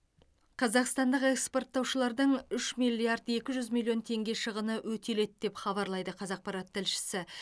қазақстандық экспорттаушылардың үш те екі миллиард теңге шығыны өтеледі деп хабарлайды қазақпарат тілшісі